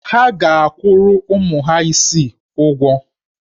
Ha ga-akwụrụ ụmụ ha isii ụgwọ.